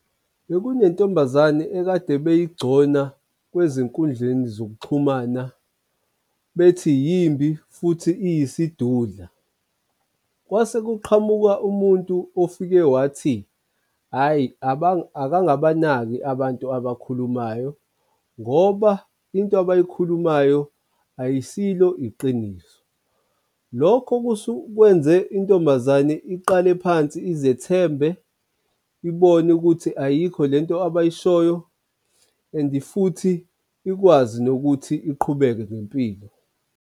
Bekunentombazane ekade beyigcona kwezenkundleni zokuxhumana bethi yimbi futhi eyisidudla. Kwase kuqhamuka umuntu ofike wathi, hhayi akangabanaki abantu abakhulumayo ngoba into abayikhulumayo ayisilo iqiniso. Lokho kwenze intombazane iqale phansi izethembe, ibone ukuthi ayikho lento abayishoyo and futhi ikwazi nokuthi iqhubeke ngempilo.